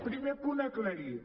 primer punt aclarit